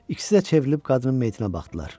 İkisi də çevrilib qadının meyitinə baxdılar.